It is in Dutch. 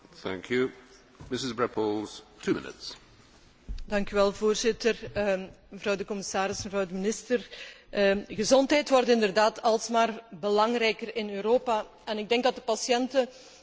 Gezondheid wordt inderdaad alsmaar belangrijker in Europa en ik denk dat de patiënten heel duidelijk verwachten dat zij meer zekerheid krijgen over hun rechten, maar ook correcte en